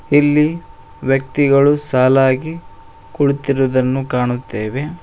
ಇಲ್ಲಿ ವ್ಯಕ್ತಿಗಳು ಸಾಲಾಗಿ ಕುಳಿತಿರುದನ್ನು ಕಾಣುತ್ತೆವೆ.